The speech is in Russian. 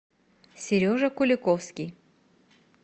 сережа куликовский